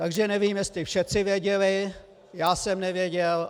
Takže nevím, jestli všeci věděli, já jsem nevěděl.